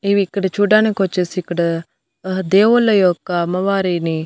ఇవి ఇక్కడ చూడ్డానికొచ్చేసి ఇక్కడ ఆ దేవుళ్ళ యొక్క అమ్మవారిని--